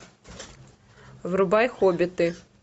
врубай хоббиты